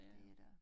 Det er der